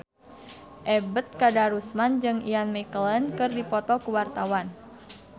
Ebet Kadarusman jeung Ian McKellen keur dipoto ku wartawan